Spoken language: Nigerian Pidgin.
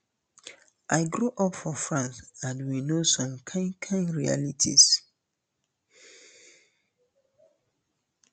i grow up for france and we know some kain kain realities